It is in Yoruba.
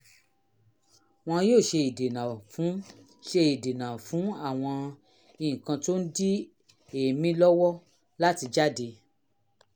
wọn yóò ṣe ìdènà fún ṣe ìdènà fún àwọn nǹkan tó ń di èémí lọ́wọ́ láti jáde